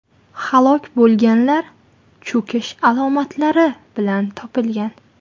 Halok bo‘lganlar cho‘kish alomatlari bilan topilgan .